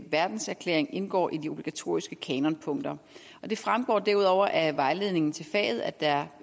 verdenserklæring indgår i de obligatoriske kanonpunkter det fremgår derudover af vejledningen til faget at der